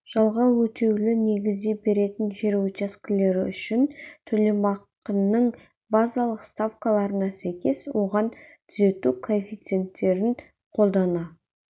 жалға өтеулі негізде беретін жер учаскелері үшін төлемақының базалық ставкаларына сәйкес оған түзету коэффициенттерін қолдана